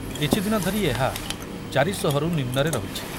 କିଛିଦିନ ଧରି ଏହା ଚାରିଶହରୁ ନିମ୍ନରେ ରହୁଛି।